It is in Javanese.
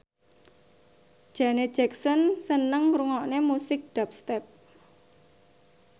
Janet Jackson seneng ngrungokne musik dubstep